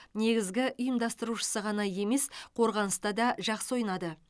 негізгі ұйымдастырушысы ғана емес қорғаныста да жақсы ойнады